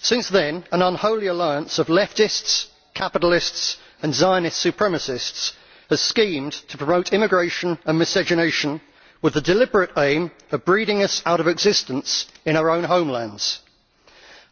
Since then, an unholy alliance of leftists, capitalists and Zionist supremacists has schemed to promote immigration and miscegenation with the deliberate aim of breeding us out of existence in our homelands.